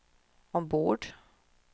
ombord